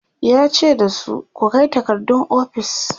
yace dasu "ku Kai takardun ofis!"